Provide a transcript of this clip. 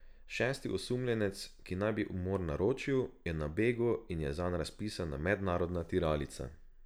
Šesti osumljenec, ki naj bi umor naročil, je na begu in je zanj razpisana mednarodna tiralica.